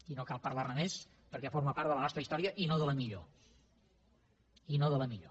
i no cal parlar ne més perquè forma part de la nostra història i no de la millor i no de la millor